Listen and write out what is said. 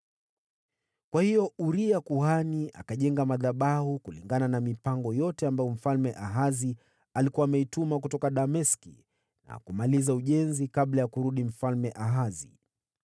Kwa hiyo Uria kuhani akajenga madhabahu kulingana na mipango yote ambayo Mfalme Ahazi alikuwa ameituma kutoka Dameski, na akamaliza ujenzi kabla ya Mfalme Ahazi kurudi.